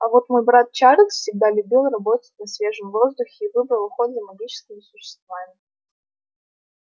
а вот мой брат чарльз всегда любил работать на свежем воздухе и выбрал уход за магическими существами